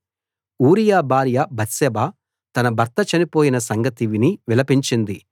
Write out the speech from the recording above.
ఊరియా భార్య బత్షెబ తన భర్త చనిపోయిన సంగతి విని విలపించింది